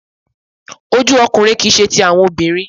oju ọkunrin kii ṣe ti awọn obinrin